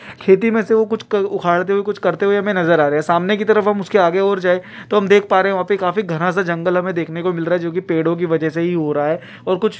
खेती में से वो कुछ क-उखाड़ते हुए कुछ करते हुए हमे नजर आ रहे हैं सामने की तरफ हम उसके आगे और जाएं तो हम देख पा रहे हैं वहाँ पे काफी घना सा जंगल हमे देखने को मिल रहा है जो की पेड़ों की वजह से ही हो रहा है और कुछ --